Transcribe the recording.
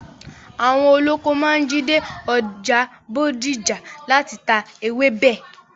Àwọn olóko máa ń jí dé ọjà Bódìjà láti ta ewébẹ̀.